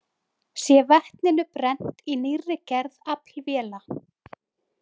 Sé vetninu brennt í nýrri gerð aflvéla.